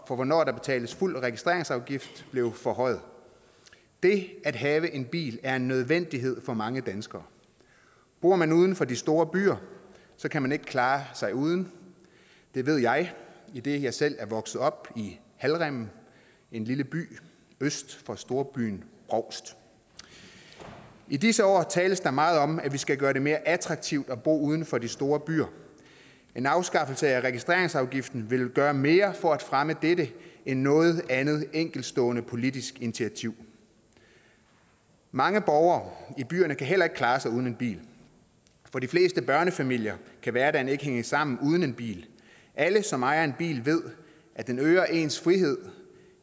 hvornår der betales fuld registreringsafgift blev forhøjet det at have en bil er en nødvendighed for mange danskere bor man uden for de store byer kan man ikke klare sig uden det ved jeg idet jeg selv er vokset op i halvrimmen en lille by øst for storbyen brovst i disse år tales der meget om at vi skal gøre det mere attraktivt at bo uden for de store byer en afskaffelse af registreringsafgiften ville gøre mere for at fremme dette end noget andet enkeltstående politisk initiativ mange borgere i byerne kan heller ikke klare sig uden en bil for de fleste børnefamilier kan hverdagen ikke hænge sammen uden en bil alle som ejer en bil ved at den øger ens frihed